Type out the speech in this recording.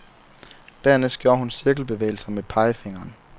Dernæst gjorde hun cirkelbevægelser med pegefingeren.